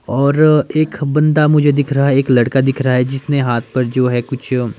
और एक बंदा मुझे दिख रहा है एक लड़का दिख रहा है जिसने हाथ पर जो है कुछ--